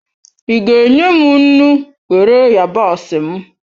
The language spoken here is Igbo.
Ị ga enye m nnu, were yabasị m?